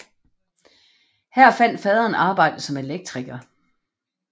Her fandt faderen arbejde som elektriker